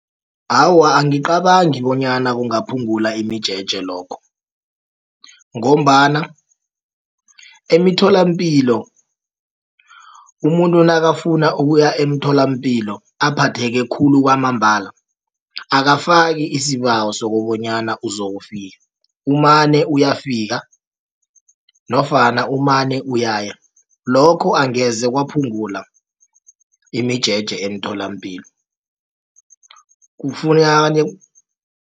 Awa, angicabangi bonyana kungaphungula imijeje lokho. Ngombana emitholampilo umuntu nakafuna ukuya emtholampilo aphathe khulu kwamambala akafaki isibawo sokobonyana uzokufika umane uyafika nofana umane uyaya. Lokho angeze kwaphungula imijeje emtholampilo